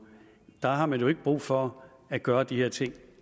der har man jo ikke brug for at gøre de her ting